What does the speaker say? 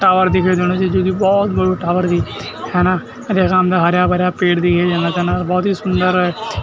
टावर दिखे देणु च जू की भौत बडू टावर भी हैना अर यख सामने हर्या भर्या पेड़ दिखे दिंदा छन अर भौत ही सुन्दर।